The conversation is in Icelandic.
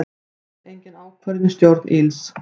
Enn engin ákvörðun í stjórn ÍLS